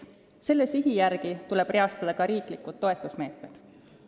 Selle sihi järgi tuleb reastada ka riigi toetusmeetmed.